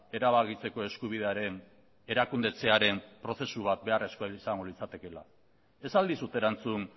erabakitzeko eskubidearen erakundetzearen prozesu bat beharrezkoa izango litzatekeela ez al dizut erantzun